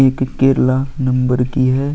एक केरला नंबर की है।